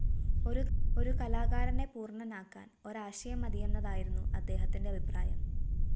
ഒരു കലാകാരനെ പൂര്‍ണനാക്കാന്‍ ഒരാശയം മതിയെന്നതായിരുന്നു അദ്ദേഹത്തിന്റെ അഭിപ്രായം